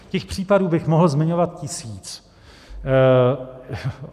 Těch případů bych mohl zmiňovat tisíc.